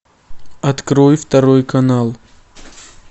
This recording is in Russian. открой второй канал